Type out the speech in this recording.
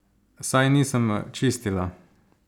Saj nisem čistila!